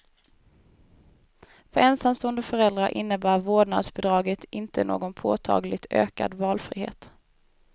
För ensamstående föräldrar innebär vårdnadsbidraget inte någon påtagligt ökad valfrihet.